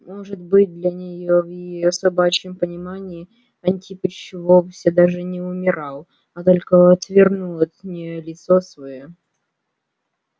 может быть для неё в её собачьем понимании антипыч вовсе даже не умирал а только отвернул от неё лицо своё